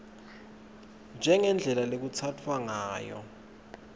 njengendlela lekutsatfwa ngayo